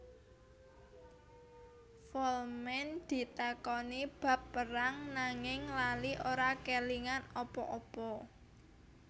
Folman ditakoni bab perang nanging lali ora kélingan apa apa